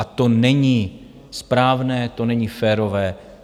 A to není správné, to není férové.